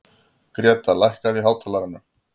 Greta, lækkaðu í hátalaranum.